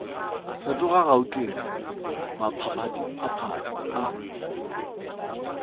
fetoga gauteng ka maphadiphadi a